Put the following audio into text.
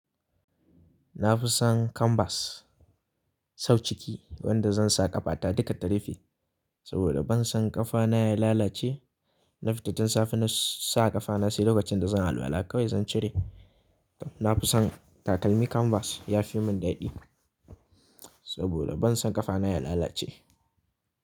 Na fi son kanvas sau ciki wanda zan sa ƙafa ta duka ta rufe saboda ban son ƙafa na ya lalace. Na fita tun safe na sa ƙafa na sai lokacin da zan alwala kawai zan cire. Na fi son takalmi kanvas ya fi mun daɗi saboda ban son ƙafa na ya lalace.